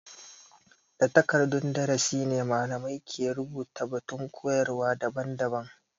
Da takardan darasi ne malamai ke rubuta batun koyarwa daban-daban.